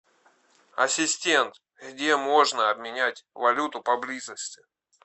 ассистент где можно обменять валюту поблизости